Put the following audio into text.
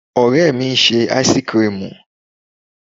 Ore mi ń ṣe áísíkrimù.